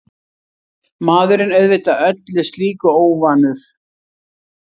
Maðurinn auðvitað öllu slíku óvanur.